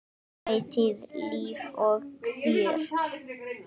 Ætíð líf og fjör.